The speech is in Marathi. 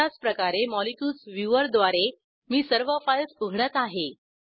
अशाचप्रकारे मॉलिक्युल्स व्ह्यूवर द्वारे मी सर्व फाईल्स उघडत आहे